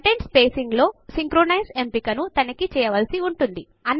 content spacing లో synchronise ఎంపికను తనఖి చేయవలసి ఉంటుంది